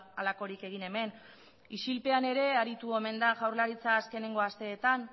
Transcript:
halakorik egin hemen isilpean ere aritu omen da jaurlaritza azkeneko asteetan